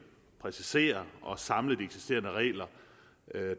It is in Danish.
præcisere og samle de eksisterende regler